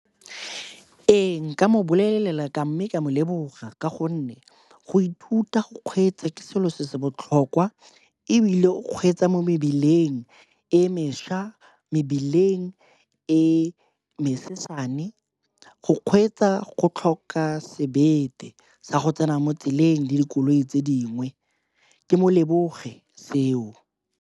Ee, nka mo bolelela ka mme ka mo leboga ka gonne go ithuta go kgweetsa ke selo se se botlhokwa ebile o kgweetsa mo mebileng e mešwa, mebileng e mesesesane. Go kgweetsa go tlhoka sebete sa go tsena mo tseleng di dikoloi tse dingwe, ke mo leboge seo.